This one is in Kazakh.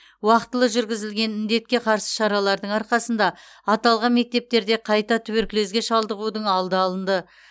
уақытылы жүргізілген індетке қарсы шаралардың арқасында аталған мектептерде қайта туберкулезге шалдығудың алды алынды